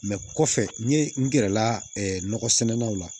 kɔfɛ n ye n gɛrɛ la nɔgɔ sɛnɛnnaw la